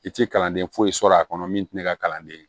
I tɛ kalanden foyi sɔrɔ a kɔnɔ min tɛ ne ka kalanden ye